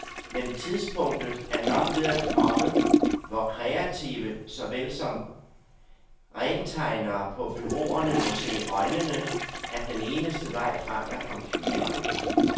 Men tidspunktet er nok ved at komme, hvor kreative såvel som rentegnere på bureauerne må se i øjnene, at den eneste vej frem er computeren.